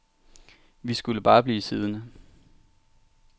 Vi skulle bare blive siddende.